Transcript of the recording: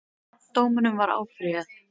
Dómunum var áfrýjað